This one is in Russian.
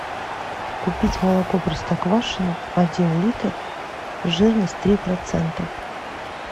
купить молоко простоквашино один литр жирность три процента